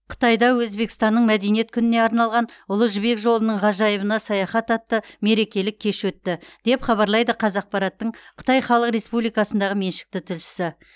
қытайда өзбекстанның мәдениет күніне арналған ұлы жібек жолының ғажайыбына саяхат атты мерекелік кеш өтті деп хабарлайды қазақпараттың қытай халық республикасындағы меншікті тілшісі